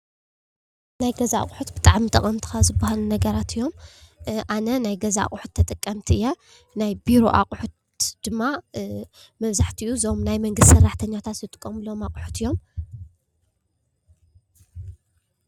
ናይ ገዛ ኣቁሑት ብጣዕሚ ጠቐምቲ ካብ ዝባሃሉ ነገራት እዮም፡፡ ኣነ ናይ ገዛ ኣቁሑት ተጠቃሚት እየ:: ናይ ቢሮ ኣቁሑት ድማ መብዛሕቲኡ ዞም ናይ መንግስቲ ሰራሕተኛታት ዝጥቀምሎም ኣቕሑት እዮም::